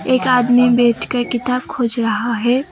एक आदमी बैठकर किताब खोज रहा है।